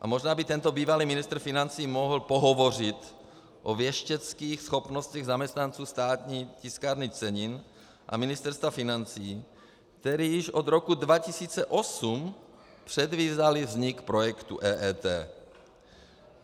A možná by tento bývalý ministr financí mohl pohovořit o věšteckých schopnostech zaměstnanců Státní tiskárny cenin a Ministerstva financí, kteří již od roku 2008 předvídali vznik projektu EET.